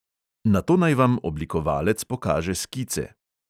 Nato naj vam oblikovalec pokaže skice.